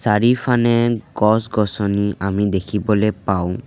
চাৰিফানে গছ-গছনি আমি দেখিবলে পাওঁ।